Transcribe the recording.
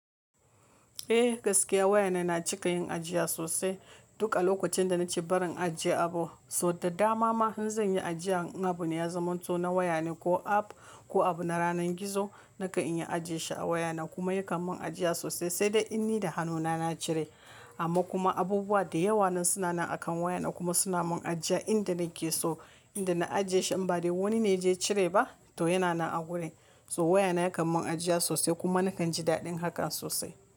Eh gaskiya wayana na cika yin ajiya sosai. Duk alokacin da na ce barin ajiye abu. So da dama ma in zan yi ajiya in abu ya zaman to na wayane ko app ko abu na ranar gizo, nakan yi ajiye shi a wayana kuma yakan mun ajiya sosai sai dai in ni da hannuna na cire. Amma kuma abubuwa da yawa nan suna nan a kan wayana kuma suna mun ajiya inda nake so. Inda na ajiye shi in ba dai wani ne ya je yacire ba to yana nan a gurin. So wayana yakan mun ajiya sosai kuma nakan ji daɗin hakan sosai.